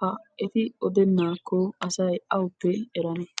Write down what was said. Ha eti odenakko asay awuppe eranee?